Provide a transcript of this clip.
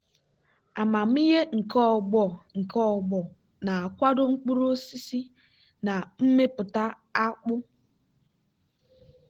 amamihe nke ọgbọ nke ọgbọ na-akwado mkpuru osisi na mmepụta akpụ.